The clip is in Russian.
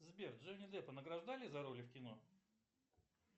сбер джонни деппа награждали за роли в кино